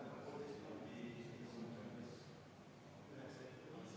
Martin Helme, kas soovite ettepanekut hääletada?